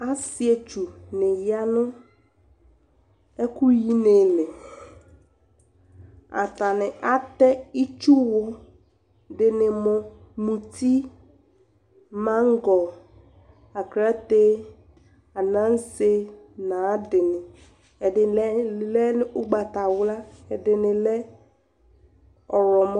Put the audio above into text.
asii ɛtsʋ ni yanʋ ɛkʋ ɛkʋ yi nili, atani atɛ itsʋ wʋ dini mʋ mʋti, mangɔ, aklatɛ, anansɛ nʋ ayiadini, ɛdini lɛ ɔgbatawla, ɛdini lɛ ɔwlɔmɔ